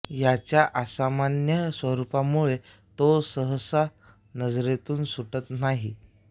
याच्या असामान्य स्वरुपामुळे तो सहसा नजरेतून सुटत नाही